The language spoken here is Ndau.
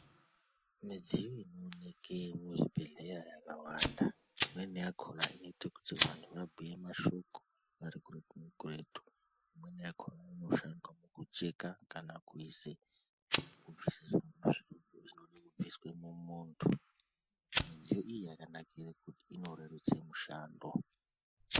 Midziyo inooneke muchibhedhleya yakawanda. Imweni yakhona inoite kuti vanhu vabhuye mashoko vari kuretu nekuretu. Imweni yakhona inoshanda kucheka kana kuise kubvise zvinode kubviswe mumunthu. Midziyo iyi yakanakire kuti inoreruse mushando.